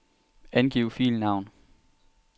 Angiv filnavn.